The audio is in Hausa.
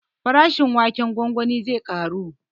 Farashin waken gwangwani zai ƙaru